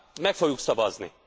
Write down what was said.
Meg fogjuk szavazni!